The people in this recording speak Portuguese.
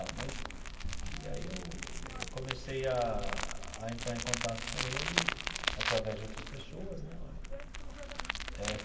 Mas e aí eu eu comecei a a entrar em contato com ele através de outras pessoas né eh.